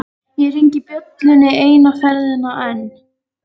Ég hringi bjöllunni eina ferðina enn.